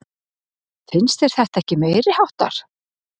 Finnst þér þetta ekki meiriháttar?